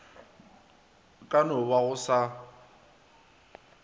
ka no ba go sa